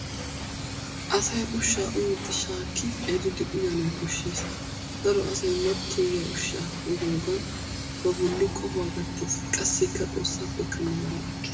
Asay ushshaa uyiiddi shaakki eridi uyanawu koshshes. Daro asay matoyiyaa ushshaa uyiyoogan ba bolli qohuwaa gattes, qassikka xoossaappekka nagaraa ekkes.